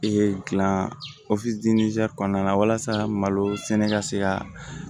Ee dilan kɔnɔna la walasa malo sɛnɛ ka se ka